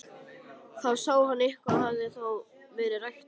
Þá sá hann að eitthvað hafði þó verið ræktað.